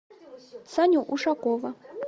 саню ушакова